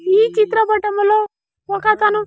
ఈ చిత్రపటంలో ఒకతను.